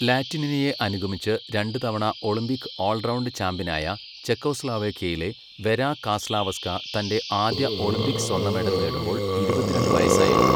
ലാറ്റിനിനയെ അനുഗമിച്ച് രണ്ട് തവണ ഒളിമ്പിക് ഓൾ റൗണ്ട് ചാമ്പ്യനായ ചെക്കോസ്ലോവാക്യയിലെ വെരാ കാസ്ലാവസ്ക തന്റെ ആദ്യ ഒളിമ്പിക്സ് സ്വർണ്ണ മെഡൽ നേടുമ്പോൾ ഇരുപത്തിരണ്ട് വയസ്സായിരുന്നു.